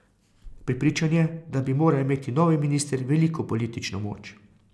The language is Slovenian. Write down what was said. Prepričan je, da bi moral imeti novi minister veliko politično moč.